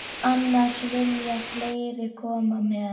Annars vilja fleiri koma með.